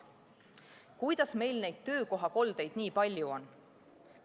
Kuidas meil neid töökohakoldeid nii palju on?